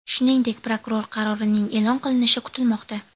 Shuningdek, prokuror qarorining e’lon qilinishi kutilmoqda.